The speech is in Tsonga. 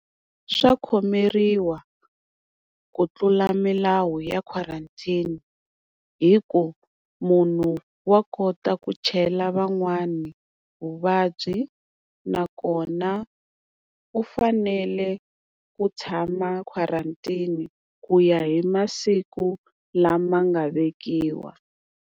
Swa khomeriwa ku tlula milawu ya quarantine hi ku munhu wa kota ku chela van'wani vuvabyi nakona u fanele ku tshama quarantine ku ya hi masiku lama nga vekiwa.